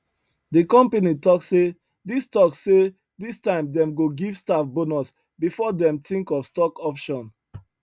the company talk say this talk say this time dem go give staff bonus before dem think of stock option